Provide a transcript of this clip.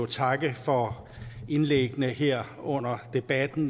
takke for indlæggene her under debatten